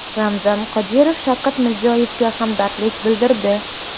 Ramzan Qodirov Shavkat Mirziyoyevga hamdardlik bildirdi.